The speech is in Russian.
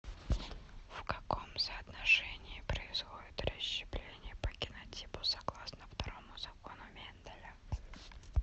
в каком соотношении происходит расщепление по генотипу согласно второму закону менделя